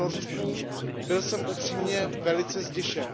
v Norsku, byl jsem upřímně velice zděšen.